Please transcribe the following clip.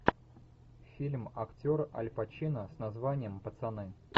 фильм актер аль пачино с названием пацаны